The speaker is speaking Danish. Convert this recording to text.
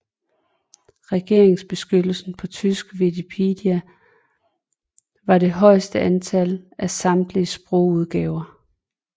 Redigeringsbeskyttelsen på tysk wikipedia var det højeste antal af på samtlige sprogudgaver